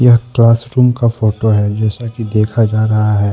यह क्लासरूम का फोटो है जिसे की देखा जा रहा हैं।